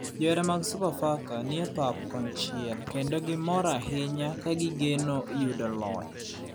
Johera mag sofa faka nie bath pap kon chiel kendo gimor ahinya ka gi geno yudo loch